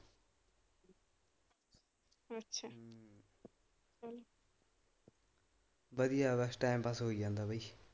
ਵਧੀਆਂ ਬਸ time pass ਹੋਈ ਜਾਂਦਾ ਬਾਈ।